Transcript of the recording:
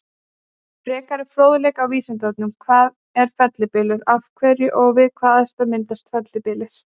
Frekari fróðleikur á Vísindavefnum: Hvað er fellibylur, af hverju og við hvaða aðstæður myndast fellibyljir?